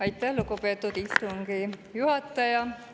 Aitäh, lugupeetud istungi juhataja!